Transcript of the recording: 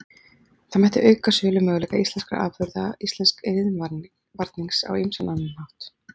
Það mætti auka sölumöguleika íslenskra afurða og íslensks iðnvarnings á ýmsan annan hátt.